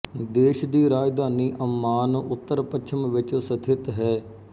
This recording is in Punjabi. ਦੇਸ਼ ਦੀ ਰਾਜਧਾਨੀ ਅੰਮਾਨ ਉੱਤਰ ਪੱਛਮ ਵਿੱਚ ਸਥਿਤ ਹੈ